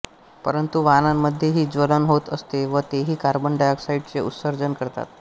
परंतु वाहनांमध्येही ज्वलन होत असते व तेही कार्बन डायॉक्साईडचे उत्सर्जन करतात